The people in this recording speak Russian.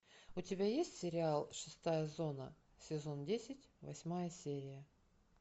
у тебя есть сериал шестая зона сезон десять восьмая серия